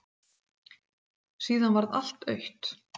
Síðan varð allt autt.